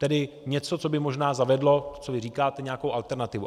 Tedy něco, co by možná zavedlo, co vy říkáte, nějakou alternativu.